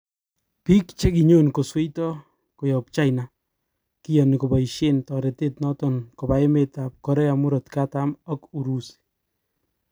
Bik chekinyon kosweito koyob China kiyoni koboishen toretet noton koba emet tab Korea murot katam ak Urusi